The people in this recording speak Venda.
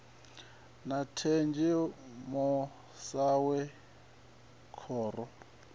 na thenzhemo sa zwe khoro